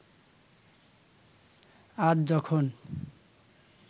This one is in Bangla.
আজ যখন